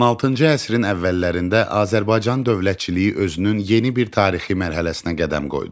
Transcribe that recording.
16-cı əsrin əvvəllərində Azərbaycan dövlətçiliyi özünün yeni bir tarixi mərhələsinə qədəm qoydu.